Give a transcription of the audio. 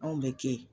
Anw bɛ kɛ yen